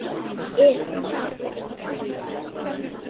Er kannski ekkert að óttast?